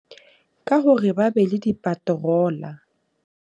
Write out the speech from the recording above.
Ka hore ba be le di-patroller.